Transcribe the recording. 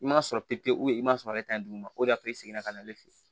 I m'a sɔrɔ pewu i b'a sɔrɔ ale ta ye duguma o de y'a to i seginna ka na ale fɛ ye